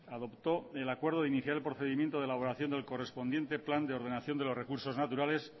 adoptó el acuerdo de inicial procedimiento de la elaboración del correspondiente plan de ordenación de los recursos naturales